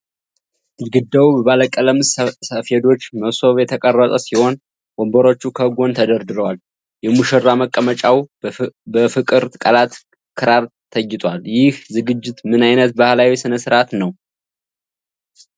ግድግዳው በባለቀለም ሰፌዶችና መሶብ የተቀረጸ ሲሆን፣ ወንበሮቹ ከጎን ተደርድረዋል። የሙሽራ መቀመጫው በፍቅር ቃላትና ክራር ተጊጧል። ይህ ዝግጅት ምን አይነት ባህላዊ ሥነ ሥርዓት ነው?